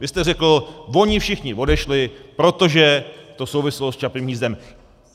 Vy jste řekl, oni všichni odešli, protože to souviselo s Čapím hnízdem.